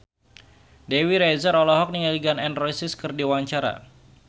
Dewi Rezer olohok ningali Gun N Roses keur diwawancara